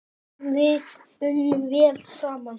Við unnum vel saman.